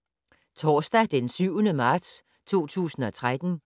Torsdag d. 7. marts 2013